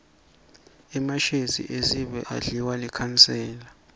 emashezi esive adliwa likhansela